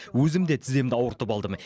өзім де тіземді ауыртып алдым